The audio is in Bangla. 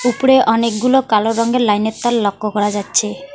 উপরে অনেকগুলো কালো রঙের লাইনের তার লক্ষ্য করা যাচ্ছে।